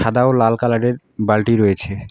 দাও লাল কালারের বালটি রয়েছে।